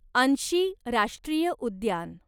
अन्शी राष्ट्रीय उद्यान